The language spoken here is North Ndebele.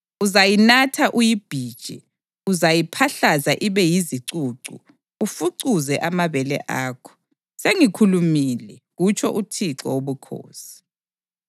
Uzayinatha uyibhije; uzayiphahlaza ibe yizicucu ufucuze amabele akho. Sengikhulumile, kutsho uThixo Wobukhosi.